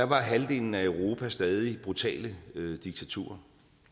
var halvdelen af europa stadig brutale diktaturer